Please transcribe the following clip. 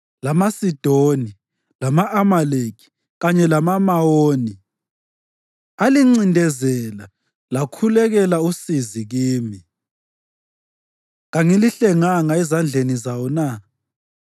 lamaSidoni, lama-Amaleki kanye lamaMawoni alincindezela lakhulekela usizo kimi, kangilihlenganga ezandleni zawo na?